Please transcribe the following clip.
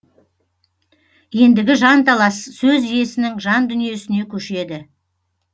ендігі жанталас сөз иесінің жан дүниесіне көшеді